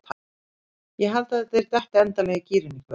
Ég held að þeir detti endanlega í gírinn í kvöld.